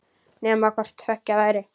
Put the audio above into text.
Nema hvort tveggja væri.